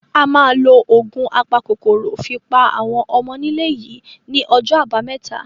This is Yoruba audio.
A máa lo ògùn apakòkòrò fi pa àwọn ọmọnílé yìí ní ọjọ́ àbámẹ́ta.